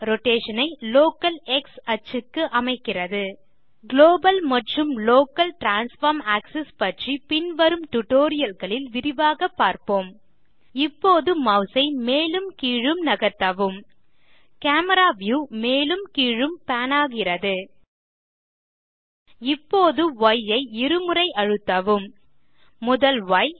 rotation ஐ local X axisக்கு அமைக்கிறது குளோபல் மற்றும் லோக்கல் டிரான்ஸ்ஃபார்ம் ஆக்ஸிஸ் பற்றி பின்வரும் tutorialகளில் விரிவாக பார்ப்போம் இப்போது மாஸ் ஐ மேலும் கீழும் நகர்த்தவும் கேமரா வியூ மேலும் கீழும் பான் ஆகிறது இப்போது ய் ஐ இருமுறை அழுத்தவும் முதல் ய்